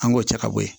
An k'o cɛ ka bɔ yen